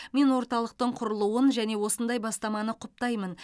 мен орталықтың құрылуын және осындай бастаманы құптаймын